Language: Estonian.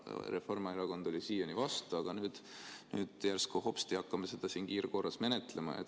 Reformierakond oli siiani vastu, aga nüüd järsku hopsti hakkame seda siin kiirkorras menetlema.